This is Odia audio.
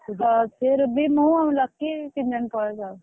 ହଁ ସେ ରୁବି ମୁଁ ଲକି ତିନଜଣ ପଳେଇବୁ ଆଉ।